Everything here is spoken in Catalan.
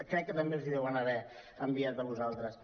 crec que també us la deuen haver enviat a vosaltres